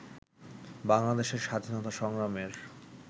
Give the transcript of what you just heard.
বাংলাদেশের স্বাধীনতা সংগ্রামের